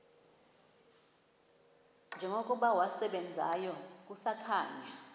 njengokuba wasebenzayo kusakhanya